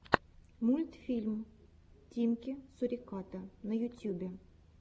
мультфильм тимки суриката на ютюбе